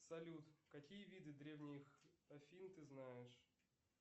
салют какие виды древних афин ты знаешь